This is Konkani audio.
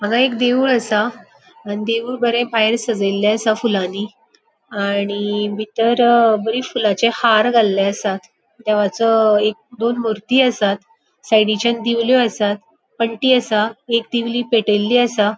हांगा एक देऊळ असा आणि देऊळ बरे भायर सजेल्ले असा फुलानी आणि बितर बरी फुलांचे हार घाल्ले आसात. देवाचो एक दोन मूर्ती आसात. साइडीच्यान दिवलो आसात. पन्टी असा. एक दिवली पेटेली असा.